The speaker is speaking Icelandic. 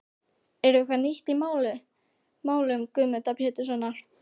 Er eitthvað nýtt í málum Guðmundar Péturssonar?